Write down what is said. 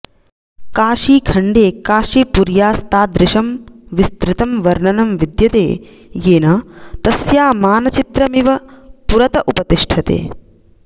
काशीखण्डे काशीपुर्यास्तादृशं विस्तृतं वर्णनं विद्यते येन तस्या मानचित्रमिव पुरत उपतिष्ठते